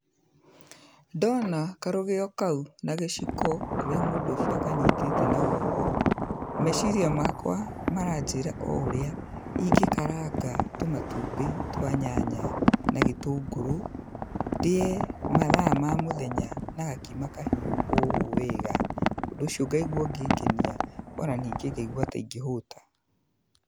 Ndona karũgio kau na gĩciko ũrĩa mũndũ ũcio akanyitĩte na guoko, meciria makwa maranjĩra o ũrĩa ingĩkaranga tũmatumbĩ twa nyanya na gĩtũngũrũ, ndĩe mathaa ma mũthenya na gakima kahiũ o ũũ wega. Ũndũ ũcio ngaigua ũngĩngenia ona ningĩ ngaigua ta ingĩhũta.